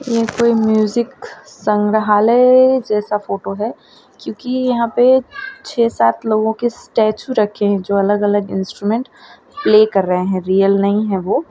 ये कोई म्यूजिक संग्रहालय जैसा फोटो है क्योंकि यहां पे छह सात लोगों के स्टैचू रखे हैं जो अलग अलग इंस्ट्रूमेंट प्ले कर रहे हैं रियल नहीं हैं वो।